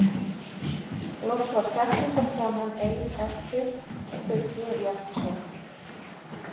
Loks var kræklótta konan ein eftir og þau tvö í aftursætinu.